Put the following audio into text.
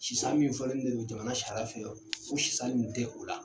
Sisan min fɔlen donlen jamana sariya fɛ, o sisan nin tɛ o la.